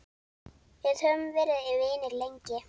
Við höfum verið vinir lengi.